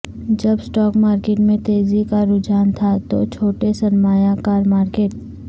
جب stock market میں تیزی کا رجحان تھا تو چھوٹے سرمایہ کار مارکیٹ